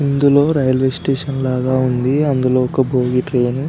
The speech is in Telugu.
ఇందులో రైల్వే స్టేషన్ లాగా ఉంది అందులో ఒక బోగి ట్రైన్ --